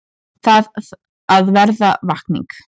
Þarf að verða vakning